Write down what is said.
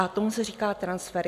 A tomu se říká transfer.